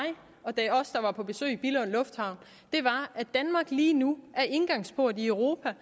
og på besøg i billund lufthavn var at danmark lige nu er indgangsport i europa